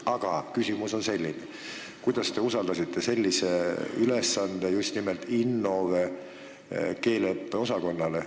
Aga küsimus on selline: miks te olete usaldanud sellise ülesande just nimelt Innove keeleõppeüksusele?